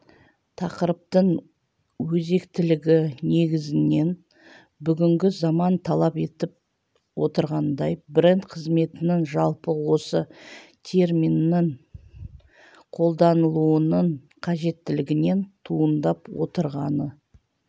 тақырыптың өзектілігі негізінен бүгінгі заман талап етіп отырғандай бренд қызметінің жалпы осы терминнің қолданылуының қажеттілігінен туындап отырғаны